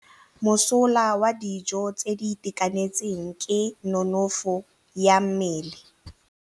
Mosola wa dijô tse di itekanetseng ke nonôfô ya mmele.